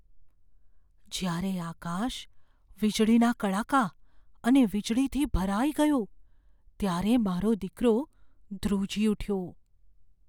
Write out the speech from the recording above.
જ્યારે આકાશ વીજળીના કડાકા અને વીજળીથી ભરાઈ ગયું ત્યારે મારો દીકરો ધ્રુજી ઉઠ્યો.